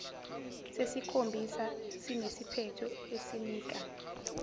sesikhombisa sinesiphetho esinika